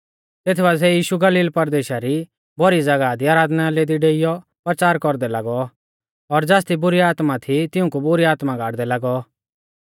तेत बासिऐ यीशु गलील परदेशा री भौरी ज़ागाह दी आराधनालय दी डेइऔ परचार कौरदै लागौ और ज़ासदी बुरी आत्मा थी तिऊंकु बुरी आत्मा गाड़दै लागौ